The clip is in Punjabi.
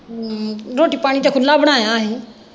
ਹਮ ਰੇਟੀ ਪਾਣੀ ਤੇ ਖੁੱਲਾ ਬਣਾਇਆ ਹੀ।